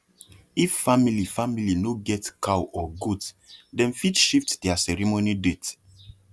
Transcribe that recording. if family family no get cow or goat dem fit shift their ceremony date